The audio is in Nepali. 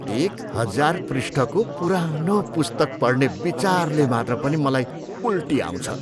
एक हजार पृष्ठको पुरानो पुस्तक पढ्ने विचारले मात्र पनि मलाई उल्टी आउँछ।